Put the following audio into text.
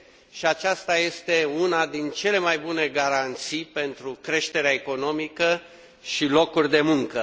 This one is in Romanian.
și aceasta este una din cele mai bune garanții pentru creșterea economică și locuri de muncă.